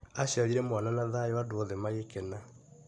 Aciarire mwana na thayũ andũ othe magĩkena.